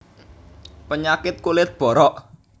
Penyakit kulit borok